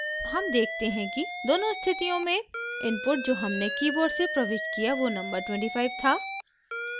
हम देखते हैं कि दोनों स्थितियों में इनपुट जो हमने कीबोर्ड से प्रविष्ट किया वो नंबर 25 था